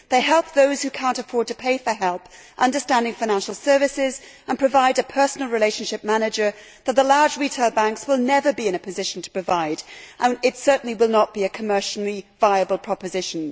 They help those who cannot afford to pay for help to understand financial services and provide a personal relationship manager that the large retail banks will never be in a position to provide this certainly will not be a commercially viable proposition.